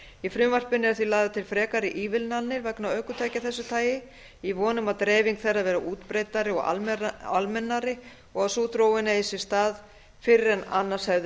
í frumvarpinu eru því lagðar til frekari ívilnanir vegna ökutækja af þessu tagi í von um að dreifing þeirra verði útbreiddari og almennari og að sú þróun eigi sér stað fyrr en annars hefði